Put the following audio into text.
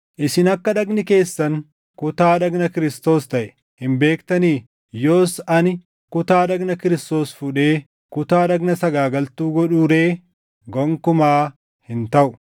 Isin akka dhagni keessan kutaa dhagna Kiristoos taʼe hin beektanii? Yoos ani kutaa dhagna Kiristoos fuudhee kutaa dhagna sagaagaltuu godhuu ree? Gonkumaa hin taʼu!